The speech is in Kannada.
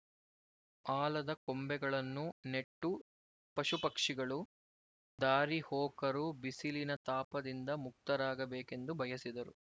ಆಲದ ಕೊಂಬೆಗಳನ್ನು ನೆಟ್ಟು ಪಶುಪಕ್ಷಿಗಳು ದಾರಿಹೋಕರು ಬಿಸಿಲಿನ ತಾಪದಿಂದ ಮುಕ್ತರಾಗಬೇಕೆಂದು ಬಯಸಿದರು